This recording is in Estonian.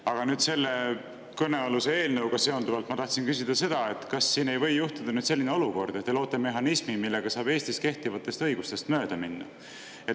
Aga selle kõnealuse eelnõuga seonduvalt tahtsin küsida seda, et kas ei või juhtuda selline olukord, et te loote mehhanismi, mille abil saab Eestis kehtivast õigusest mööda minna.